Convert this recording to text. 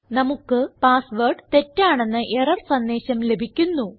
നമുക്ക് password തെറ്റാണെന്ന error സന്ദേശം ലഭിക്കുന്നു